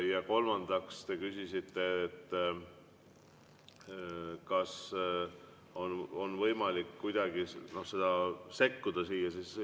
Ja kolmandaks te küsisite, kas on võimalik kuidagi sekkuda siia.